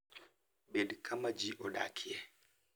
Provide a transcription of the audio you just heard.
Bed kama ji odakie.